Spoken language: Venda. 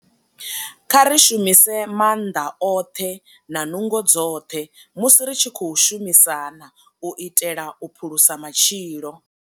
Kha ri shumise maanḓa oṱhe na nungo dzoṱhe musi ri tshi khou shumisana u itela u phulusa matshilo.